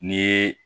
N'i ye